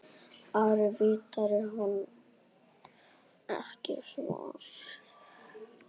Ari virti hann ekki svars.